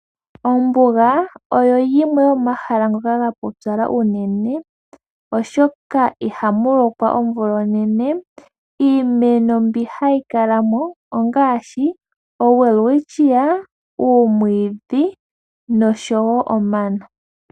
Ombuga oyo yimwe yomomahala ngoka ga pupyala unene oshoka ihamu lokwa omvula onene. Iimeno mbyo hayi kala mo ongaashi owelwitscia, uumwiidhi nosho wo omano.